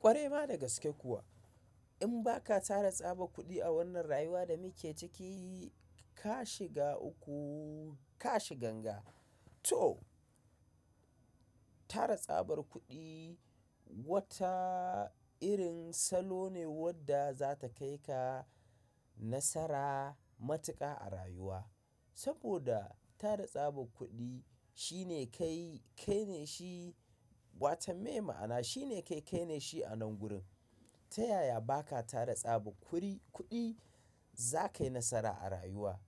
Kwarai ma dagaske kuwa, in ba ka tara tsabar kuɗi a wannan rayuwa da muke ciki, ka shiga uku, ka shi ganga. To, tara tsabar kuɗi wata irin salo ne wadda za ta kai ka nasara matuƙa a rayuwa. Saboda tara tsabar kuɗi shine kai, kai ne shi watan mai ma'ana shine kai, kai ne shi anan gurin. Ta yaya ba ka tara tsabar kuri-- kuɗi za ka yi nasara a rayuwa?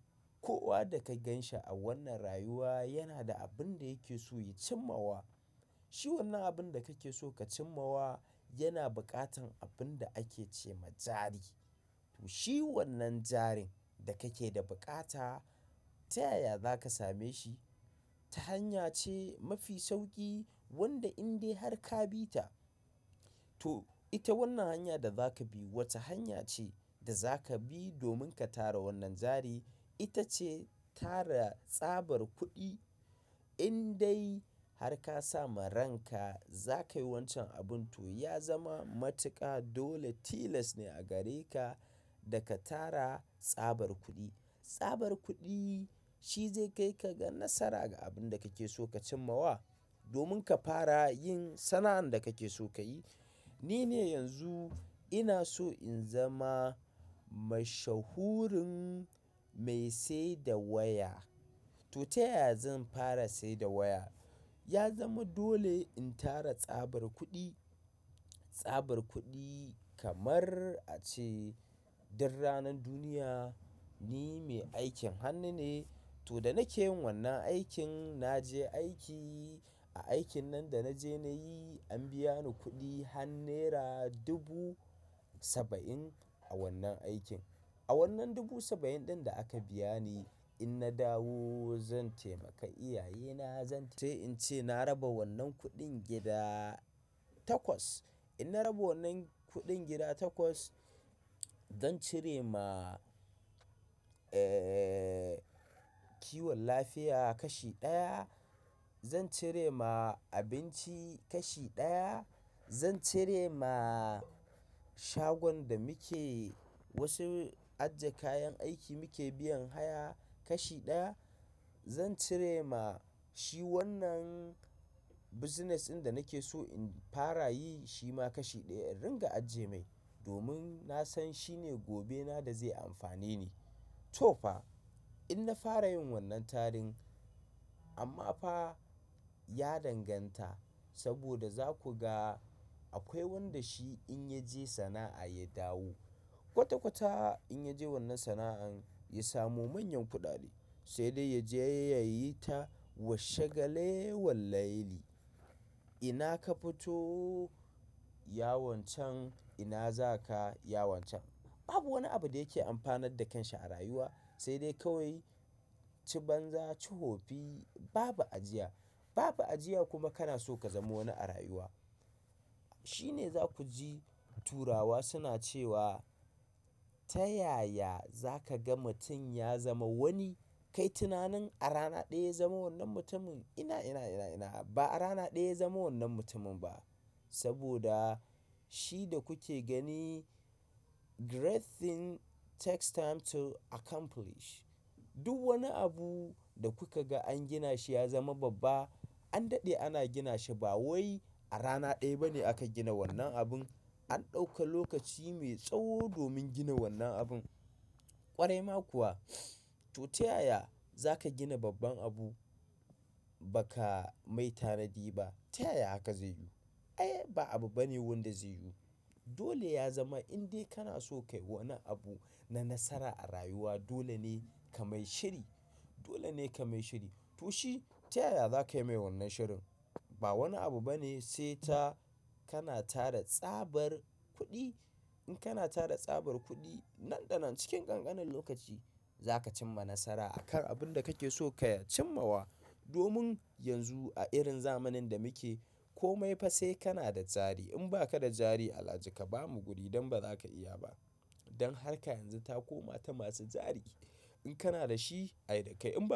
Kowa da ka ganshi a wannan rayuwa yana da abin da yake so ya cimma wa. Shi wannan abin da kake so ka cimma wa yana buƙatan abin da ake ce ma jari. To, shi wannan jarin da kake da buƙata ta yaya za ka same shi? Ta hanya ce mafi sauƙi wanda in dai har ka bi ta. To ita wannan hanya da za kabi wata hanya ce da zaka bi domin ka tara wannan jari. Ita ce tara tsabar kuɗi in dai har ka sama ranka, za ka yi wancan abun to ya zama matuƙa dole tilas ne a gare ka da ka tara tsabar kuɗi. Tsabar kuɗi shi zai kai ka ga nasara ga abin da kake so ka cimma wa. Domin ka fara yin sana'an da kake so ka yi. Ni ne yanzu ina so in zama mashahurin mai saida waya. To, ta yaya zan fara saida waya? Ya zama dole in tara tsabar kuɗi. Tsabar kuɗi kamar a ce dan ranan duniya ni mai aikin hannu ne. To, da nake yin wannan aikin, na je aiki. Aikin nan da na je na yi, an biya ni kuɗi har Naira dubu saba'in a wannan aikin. A wannan dubu saba'in ɗin da aka biya ni in na dawo zan taimaka iyaye na, zan ce in ce na raba wannan kuɗin gida takwas. In na raba wannan kuɗin gida takwas, zan cire ma, eh, kiwon lafiya kashi ɗaya, zan cire ma abinci kashi ɗaya, zan cire ma shagon da muke wasu ajje kayan aiki muke biyan haya kashi ɗaya, zan cire ma shi wannan business ɗin da nake so in fara yi shi ma kashi ɗaya in ringa ajje mai. Domin na san shine gobe na da zai amfane ni. To fa, in na fara yin wannan tarin amma fa ya danganta saboda za ku ga akwai wanda shi in ya je sana'a ya dawo. Kwata-kwata in ya je wannan sana'an ya samu manyan kuɗaɗe, sai dai ya je yayi ta washe gale wallayalli. Ina ka fito, ya wancan, ina za ka, ya wancan. Babu wani abu da yake amfanar da kanshi a rayuwa. Sai dai kawai ci banza, ci hofi, babu ajiya. Babu ajiya kuma kana so ka zama wani a rayuwa. Shi ne za ku ji turawa suna cewa, ta yaya za ka ga mutum ya zama wani? Kai tunanin a rana ɗaya ya zama wannan mutumin? Ina, ina, ina, ina. Ba a rana ɗaya ya zama wannan mutumin ba. Saboda shi da kuke gani, great thing takes time to accomplish. Duk wani abu da kuka ga an gina shi ya zama babba, an daɗe ana gina shi ba wai a rana ɗaya ba ne aka gina wannan abun. An ɗauka lokaci mai tsawo domin gina wannan abun. Kwarai ma kuwa. To, ta yaya za ka gina babban abu baka mai tanadi ba. Ta yaya haka zai yiwu? Ai, ba abu bane wanda zai yiwu. Dole ya zama in dai kana so ka yi wani abu na nasara a rayuwa, dole ne ka mai shiri. Dole ne ka mai shiri. To, shi ta yaya za ka yi mai wannan shirin? Ba wani abu bane sai ta kana tara tsabar kuɗi. In kana tara tsabar kuɗi nan da nan cikin ƙanƙanin lokaci, za ka cim ma nasara akan abin da kake so ka cimma wa. Domin yanzu a irin zamanin da muke ko mai fa sai kana da jari. In ba ka da jari, alhaji ka bamu guri dan ba za ka iya ba. Dan har ka yanzu ta koma ta masu jari. In kana da shi, ai da kai in ba.